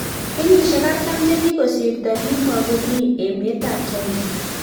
Kenyisiek artam chekokisrto kimogomi emeet ap china